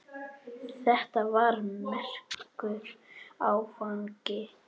Þetta var merkur áfangi.